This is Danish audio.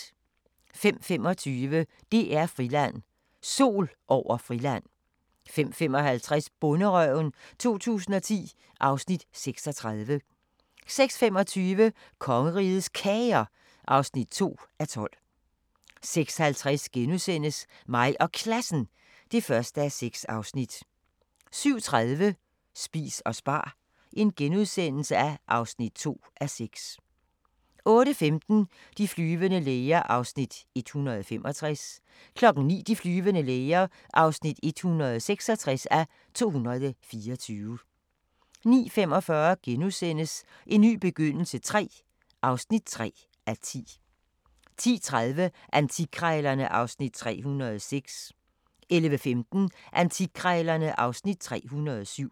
05:25: DR-Friland: Sol over Friland 05:55: Bonderøven 2010 (Afs. 36) 06:25: Kongerigets Kager (2:12) 06:50: Mig og Klassen (1:6)* 07:30: Spis og spar (2:6)* 08:15: De flyvende læger (165:224) 09:00: De flyvende læger (166:224) 09:45: En ny begyndelse III (3:10)* 10:30: Antikkrejlerne (Afs. 306) 11:15: Antikkrejlerne (Afs. 307)